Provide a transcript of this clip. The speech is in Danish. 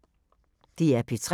DR P3